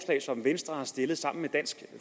som venstre har stillet sammen med dansk